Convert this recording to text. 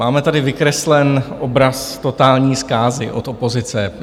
Máme tady vykreslený obraz totální zkázy od opozice.